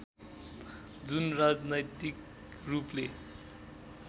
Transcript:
जुन राजनैतिक रूपले